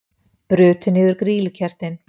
Brutu niður grýlukertin